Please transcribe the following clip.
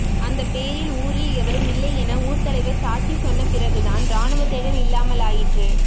அந்தப்பேரில் ஊரில் எவரும் இல்லை என ஊர்த்தலைவர் சாட்சி சொன்னபிறகுதான் ராணுவத்தேடல் இல்லாமலாயிற்று